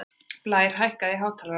Blær, hækkaðu í hátalaranum.